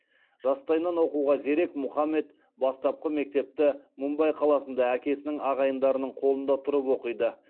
жастайынан оқуға зерек мұхаммед бастапқы мектепті мумбай қаласында әкесінің ағайындарының қолында тұрып оқиды